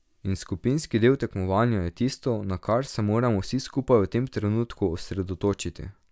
In skupinski del tekmovanja je tisto, na kar se moramo vsi skupaj v tem trenutku osredotočiti.